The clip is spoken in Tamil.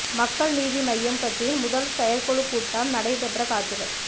மக்கள் நீதி மய்யம் கட்சியின் முதல் செயற்குழு கூட்டம் நடைபெற்ற காட்சிகள்